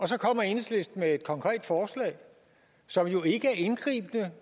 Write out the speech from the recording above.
så kommer enhedslisten med et konkret forslag som jo ikke er indgribende